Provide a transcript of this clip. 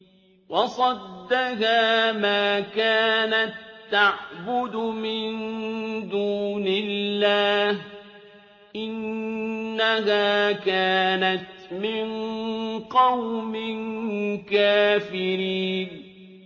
وَصَدَّهَا مَا كَانَت تَّعْبُدُ مِن دُونِ اللَّهِ ۖ إِنَّهَا كَانَتْ مِن قَوْمٍ كَافِرِينَ